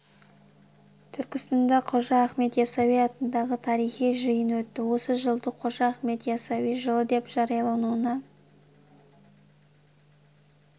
түркістанда қожа ахмет ясауи атындағы тарихи жиын өтті осы жылды қожа ахмет ясауи жылы деп жариялауына